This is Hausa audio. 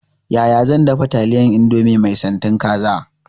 Yaya zan dafa taliyar indomie mai santin kaza?